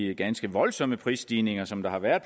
de ganske voldsomme prisstigninger som der har været